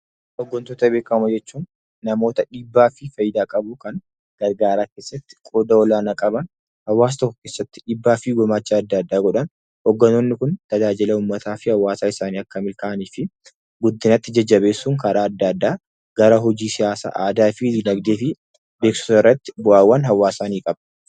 Hoggantoota beekamoo jechuun namoota dhiibbaa fi faayidaa qabu kan gargaaraa keessatti qooda olaanaa qaban. Hawaasa tokko keessatti dhiibbaa fi gumaacha adda addaa godhan. Hogganoonni kun tajaajila uummataa fi hawaasa isaanii akka milkaa'anii fi guddinatti jajjabeessuun karaa adda addaa gara hojii siyaasaa, aadaa fi dinagdee fi beeksisa irratti bu'aawwan hawaasaa ni qaba.